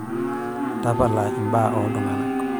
tapala inmbaa oo iltung'anak